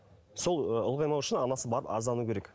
сол ы ұлғаймау үшін анасы барып арыздану керек